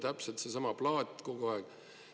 Täpselt seesama plaat kogu aeg.